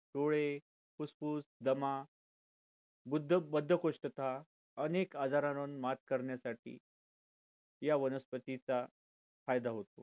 डोळे पूसपूस दमा बुद्ध बद्धकोष्ठता अनेक आजारांवर मात करण्यासाठी या वनस्तींचा चा फायदा होतो